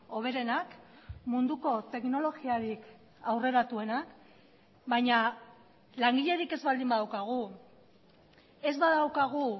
hoberenak munduko teknologiarik aurreratuenak baina langilerik ez baldin badaukagu ez badaukagu